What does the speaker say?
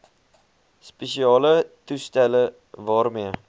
spesiale toestelle waarmee